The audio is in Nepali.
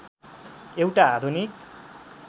एउटा आधुनिक